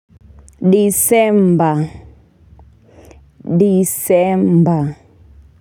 Disemba, Disemba.